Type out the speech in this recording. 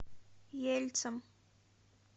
ельцом